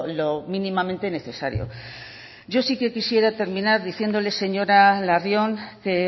lo mínimamente necesario yo sí que quisiera terminar diciéndole señora larrion que